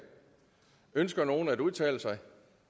ønsker nogen at udtale sig